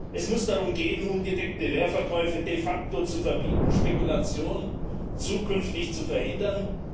Es muss darum gehen, ungedeckte Leerverkäufe de facto zu verbieten, Spekulation zukünftig zu verhindern.